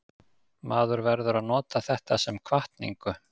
Maður verður að nota þetta sem hvatningu.